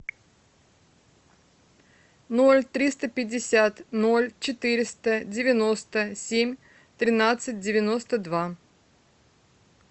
ноль триста пятьдесят ноль четыреста девяносто семь тринадцать девяносто два